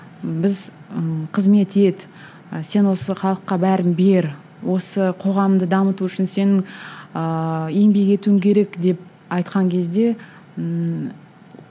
біз ы қызмет ет ы сен осы халыққа бәрін бер осы қоғамды дамыту үшін сенің ыыы еңбек етуің керек деп айтқан кезде ммм